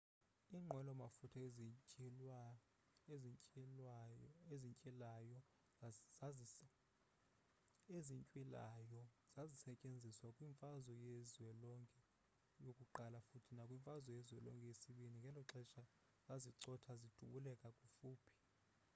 iinqwelo mafutha ezintywilayo zazisetyenziswa kwi-mfazwe yezwelonke i futhi nakwi-mfazwe yezwelonke ii ngeloxesha zazicotha zidubulela kufuphi